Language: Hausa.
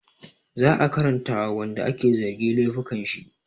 Za a karanta wa wanda ake zargi laifukan shi